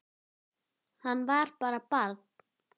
Hann var bara barn.